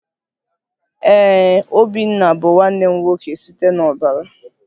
Ee, obinna bụ nwanne m nwoke site n'ọbara